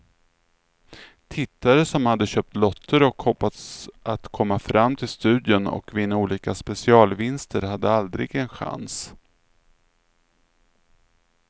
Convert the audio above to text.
Tittare som hade köpt lotter och hoppats att komma fram till studion och vinna olika specialvinster hade aldrig en chans.